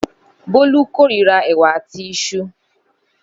Bólú kòrira ẹ̀wà àti isu.